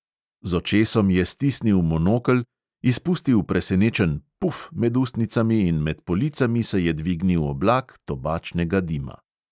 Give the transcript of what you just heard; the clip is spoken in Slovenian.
Z očesom je stisnil monokel, izpustil presenečen "puf!" med ustnicami in med policami se je dvignil oblak tobačnega dima.